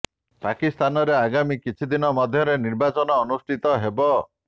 ପାକିସ୍ତାନରେ ଆଗାମୀ କିଛି ଦିନ ମଧ୍ୟରେ ନିର୍ବାଚନ ଅନୁଷ୍ଠିତ ହେବ